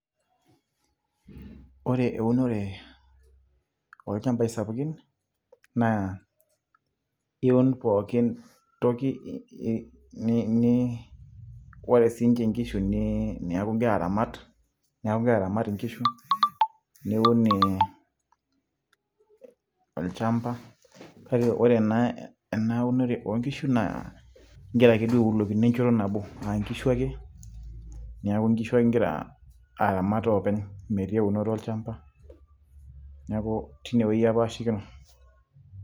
Ore eunore olchambai sapukin, naa iun pookin toki ni ore sinche nkishu niaku igira aramat, neeku gira aramat inkishu, niun e olchamba. Kake ore enaunore onkishu na gira ake duo aiulokino enchoto nabo, ankishu ake. Neeku nkishu gira aramat oopeny metii eunoto olchamba. Neeku teinewueji apashikino.